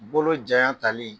Bolo janya tali